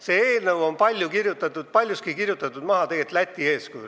See eelnõu on tegelikult paljuski Läti pealt maha kirjutatud.